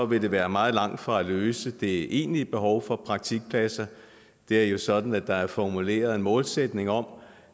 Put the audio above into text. vil det være meget langt fra at løse det egentlige behov for praktikpladser det er jo sådan at der er formuleret en målsætning om